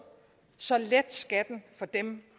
så let skatten for dem